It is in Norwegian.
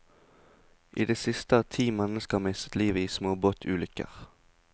I det siste har ti mennesker mistet livet i småbåtulykker.